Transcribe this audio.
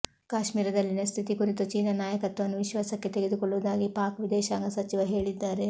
ಕಾಶ್ಮೀರದಲ್ಲಿನ ಸ್ಥಿತಿ ಕುರಿತು ಚೀನಾ ನಾಯಕತ್ವವನ್ನು ವಿಶ್ವಾಸಕ್ಕೆ ತೆಗೆದುಕೊಳ್ಳುವುದಾಗಿ ಪಾಕ್ ವಿದೇಶಾಂಗ ಸಚಿವ ಹೇಳಿದ್ದಾರೆ